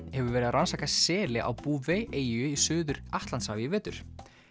hefur verið að rannsaka seli á Bouvet eyju í Suður Atlantshafi í vetur